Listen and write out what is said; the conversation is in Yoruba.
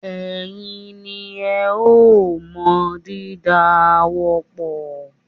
Ẹ̀yin ni ẹ o mọ dídá ààwọ̀ pọ̀.